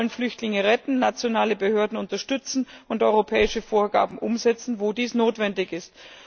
Wir wollen Flüchtlinge retten, nationale Behörden unterstützen und europäische Vorgaben umsetzen, wo dies notwendig ist.